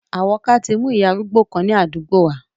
Àwọ́ká tí mu ìyá arúgbó kan ni àdúgbò wa.